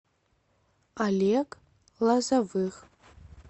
олег лозовых